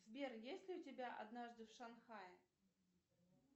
сбер есть ли у тебя однажды в шанхае